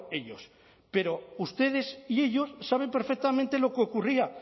ellos pero ustedes y ellos saben perfectamente lo que ocurría